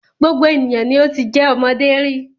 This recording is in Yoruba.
Gbogbo ènìyàn ni o ti jẹ́ ọmọdé rí.